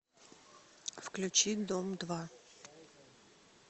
включи дом два